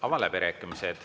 Avan läbirääkimised.